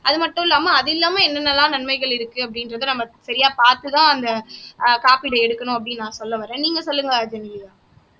அது மட்டும் இல்லாமல் அது இல்லாமல் என்னென்னலாம் நன்மைகள் இருக்கு அப்படிங்கறத நம்ம சரியா பாத்து தான் அந்த ஆஹ் காப்பீடு எடுக்கணும் அப்படீன்னு நான் சொல்ல வரேன் நீங்க சொல்லுங்க ஜெனிலியா